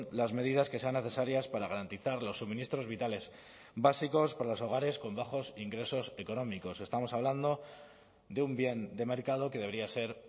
las medidas que sean necesarias para garantizar los suministros vitales básicos para los hogares con bajos ingresos económicos estamos hablando de un bien de mercado que debería ser